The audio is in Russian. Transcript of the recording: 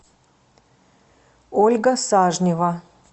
ольга сажнева